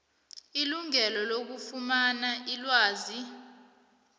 ilungelo lokufumana ilwazi